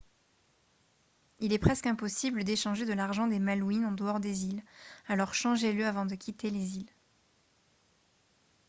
il est presque impossible d'échanger de l'argent des malouines en dehors des îles alors changez-le avant de quitter les îles